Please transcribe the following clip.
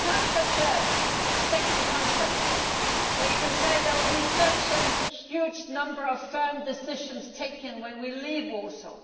Because it is not such a sexy conference, where you can say that there will be a huge number of firm decisions taken when we leave Warsaw.